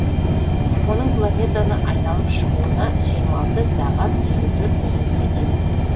оның планетаны айналып шығуына жиырма алты сағат елу төрт минут кетеді